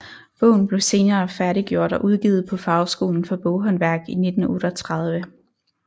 Bogen blev senere færdiggjort og udgivet på Fagskolen for Boghåndværk i 1938